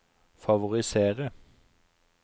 favorisere